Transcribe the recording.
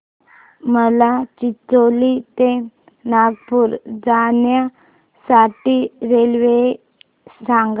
मला चिचोली ते नागपूर जाण्या साठी रेल्वे सांगा